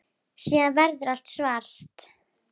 Síðan verður allt svart.